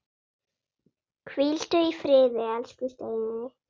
Hvíldu í friði, elsku Steini.